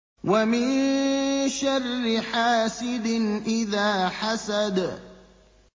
وَمِن شَرِّ حَاسِدٍ إِذَا حَسَدَ